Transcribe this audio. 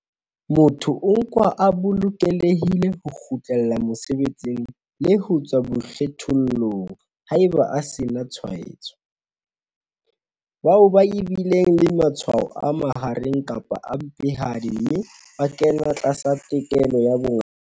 Motho o nkwa a bolokelehile ho kgutlela mosebetsing le ho tswa boikgethollong haeba a se a sena tshwaetso. Bao ba bileng le matshwao a mahareng kapa a mpehadi mme ba kena tlasa tekolo ya bongaka.